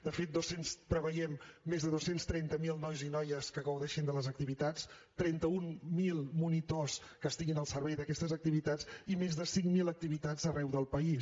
de fet preveiem més de dos cents i trenta miler nois i noies que gaudeixin de les activitats trenta mil monitors que estiguin al servei d’aquestes activitats i més de cinc mil activitats arreu del país